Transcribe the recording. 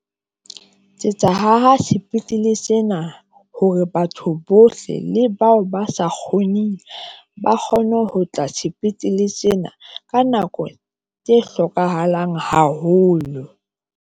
Tsetsa haha sepetlele sena hore batho bohle le bao ba sa kgoneng ba kgone ho tla sepetlele sena ka nako tse hlokahalang haholo.